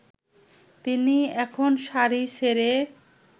তিনি এখন শাড়ি ছেড়ে